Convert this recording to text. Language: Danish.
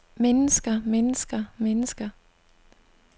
mennesker mennesker mennesker